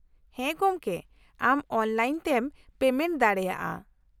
-ᱦᱮᱸ ᱜᱚᱢᱠᱮ , ᱟᱢ ᱚᱱᱞᱟᱭᱤᱱ ᱛᱮᱢ ᱯᱮᱢᱮᱱᱴ ᱫᱟᱲᱮᱭᱟᱜᱼᱟ ᱾